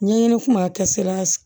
Ɲɛɲini kun b'a kɛsila